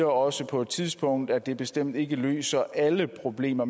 også på et tidspunkt at det bestemt ikke løser alle problemer